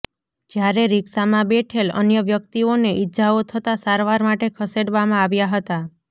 જ્યારે રિક્ષામાં બેઠેલ અન્ય વ્યક્તિઓ ને ઇજાઓ થતાં સારવાર માટે ખસેડવામાં આવ્યા હતા